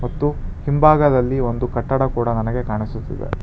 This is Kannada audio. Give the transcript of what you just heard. ಮತ್ತು ಹಿಂಭಾಗದಲ್ಲಿ ಒಂದು ಕಟ್ಟಡ ಕೂಡ ನನಗೆ ಕಾಣಿಸುತ್ತಿದೆ.